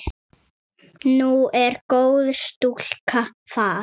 Nú er góð stúlka farin.